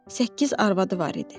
Səkkiz arvadı var idi.